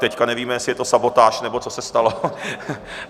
Teď nevíme, jestli je to sabotáž, nebo co se stalo.